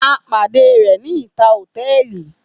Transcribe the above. A pade rẹ ni ita hotẹẹli.